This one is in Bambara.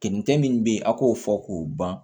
Kɛninkɛ min bɛ yen a k'o fɔ k'o ban